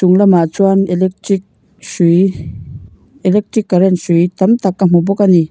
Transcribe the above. chung lamah chuan electric hrui electric current hrui tam tak ka hmu bawk a ni.